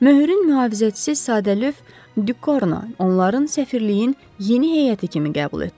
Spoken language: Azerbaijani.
Möhürün mühafizəçisi Sadelyöf Dükorno onları səfirliyin yeni heyəti kimi qəbul etdi.